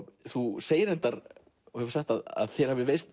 þú segir að þér hafi reynst